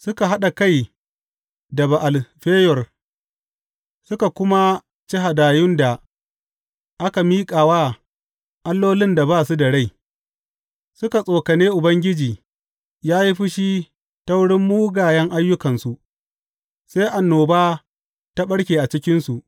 Suka haɗa kai da Ba’al Feyor suka kuma ci hadayun da aka miƙa wa allolin da ba su da rai; suka tsokane Ubangiji ya yi fushi ta wurin mugayen ayyukansu, sai annoba ta ɓarke a cikinsu.